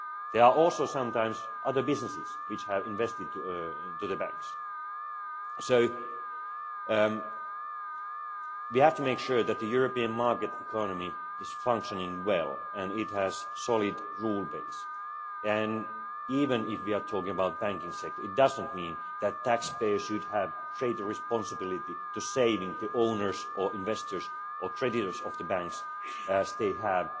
There are also sometimes other businesses which have invested in the banks so we have to make sure that the European market economy is functioning well and it has a solid rule base, and even if we are talking about the banking sector, it does not mean that taxpayers should have a greater responsibility to savers, owners, investors or creditors of the banks as they have